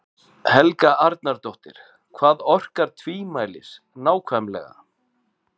Helga Arnardóttir: Hvað orkar tvímælis nákvæmlega?